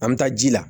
An bɛ taa ji la